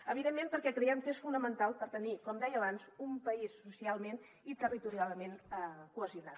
evidentment perquè creiem que és fonamental per tenir com deia abans un país socialment i territorialment cohesionat